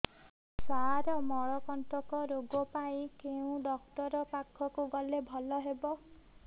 ସାର ମଳକଣ୍ଟକ ରୋଗ ପାଇଁ କେଉଁ ଡକ୍ଟର ପାଖକୁ ଗଲେ ଭଲ ହେବ